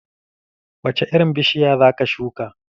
Wace irin bishiya za ka shuka?